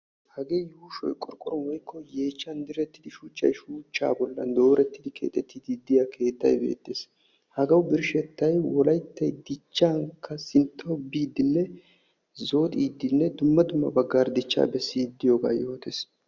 Hagee qorqquruwan direttidda keettay beetes. Hagee qassi wolaytti dumma dummaban dicciddi de'iyooga besees